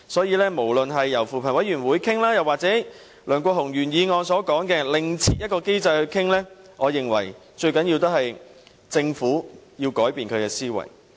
因此，不論是由扶貧委員會討論，還是按梁國雄議員原議案所說，另設機制來討論，我認為最重要的是政府要改變其思維。